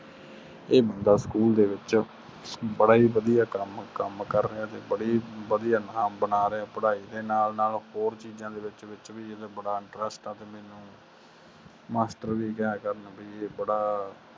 ਇਹ ਮੁੰਡਾ ਸਕੂਲ ਦੇ ਵਿੱਚੋ ਬੜਾ ਹੀ ਵੜਿਆ ਨਾਮੁ ਬਣਾ ਰਿਹਾ ਆ ਪੜ੍ਹਾਈ ਦੇ ਨਾਲ ਨਾਲ ਚੀਜ ਦੇ ਵਿਚ ਵਿਚ ਵੇ ਏਦਾਂ ਬੜਾ ਇੰਟਰੇਸ੍ਟ ਆ ਵੀ ਮੇਨੂ ਮਾਸਟਰ ਵੀ ਕਿਹਾ ਕਰਨ ਵੀ ਇਹ ਬੜਾ